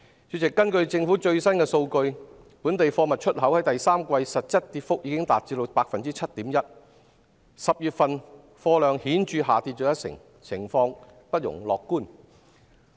主席，根據政府最新數據，本地貨物出口在第三季實質跌幅已達 7.1%，10 月份貨量顯著下跌一成，情況不容樂觀。